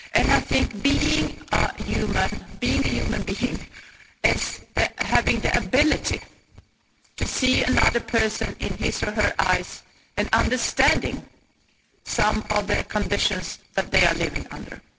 I think being a human being is having the ability to look another person in his or her eyes and understand some of the conditions that they are living under.